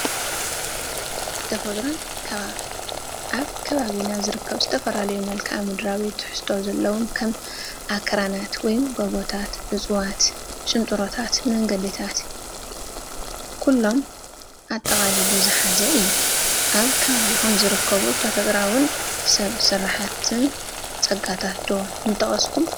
ተፈጥሮን ከባብን፡- ኣብ ከባቢና ዝርከቡ ዝተፈላለዩ መልክኣ-ምድራዊ ትሕዝቶ ዘለዎም ከም ኣኽራናት ወይ ጎቦታት፣ እፅዋት፣ ሽንጥሮታትን መንገዲታት ኩሎም ኣጠቓሊሉ ዝሓዘ እዩ፡፡ ካብ ከባቢኹም ዝርከቡ ተፈጥሮኣዊን ሰብ ስራሕን ፀጋታት ዶ ምጠቐስኩም?